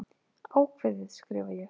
Ákveðið, skrifa ég.